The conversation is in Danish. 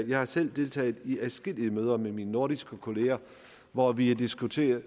jeg har selv deltaget i adskillige møder med mine nordiske kolleger hvor vi har diskuteret